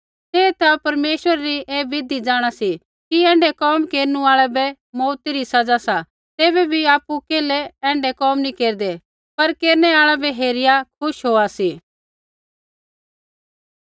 तै ता परमेश्वरै री ऐ बिधि जाँणा सी कि ऐण्ढै कोम केरनु आल़ै बै मौऊती री सज़ा सा तैबै भी आपु केल्है ऐण्ढै कोम नी केरदै पर केरनै आल़ै बै हेरिया खुश होआ सी